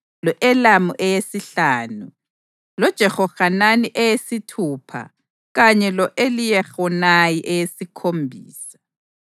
lo-Elamu eyesihlanu, loJehohanani eyesithupha kanye lo-Eliyehonayi eyesikhombisa.